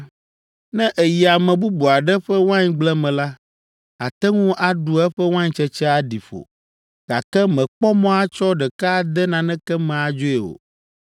“Ne èyi ame bubu aɖe ƒe waingble me la, àte ŋu aɖu eƒe waintsetse aɖi ƒo, gake mèkpɔ mɔ atsɔ ɖeke ade naneke me adzoe o.